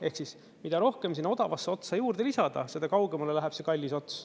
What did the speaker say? Ehk siis mida rohkem sinna odavasse otsa juurde lisada, seda kaugemale läheb see kallis ots.